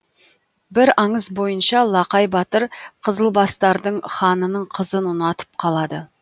бір аңыз бойынша лақай батыр қызылбастардың ханының қызын ұнатып қалады